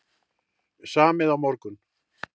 Samið á morgun